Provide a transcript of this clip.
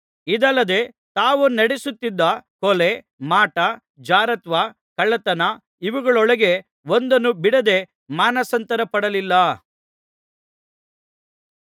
ಇದಲ್ಲದೆ ತಾವು ನಡೆಸುತ್ತಿದ್ದ ಕೊಲೆ ಮಾಟ ಜಾರತ್ವ ಕಳ್ಳತನ ಇವುಗಳೊಳಗೆ ಒಂದನ್ನೂ ಬಿಡದೆ ಮಾನಸಾಂತರಪಡಲಿಲ್ಲ